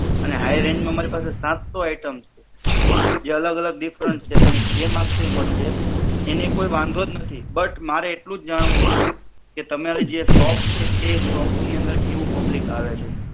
અને high range માં મારી પાસે સાતસો items છે. જે અલગ અલગ different છે, તમે જે માગસો એ મડસે એની કોઈ વાંધો જ નથી but મારે એટલું જ જાણવું હતું કે તમારી જે shop છે તે shop ની અંદર કેવું public આવે છે?